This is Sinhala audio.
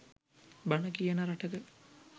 බණ කියන රටක